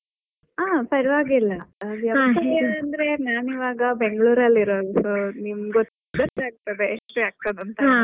ಹಾ ಪರವಾಗಿಲ್ಲಾ ನಾನ್ ಇವಾಗ ಬೆಂಗಳೂರಲ್ಲಿ ಇರೋದು ನಿಮ್ಗ್ ಗೊತ್ತಾಗ್ತದೆ .